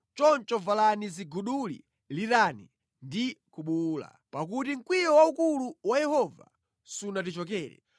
Choncho valani ziguduli, lirani ndi kubuwula, pakuti mkwiyo waukulu wa Yehova sunatichokere.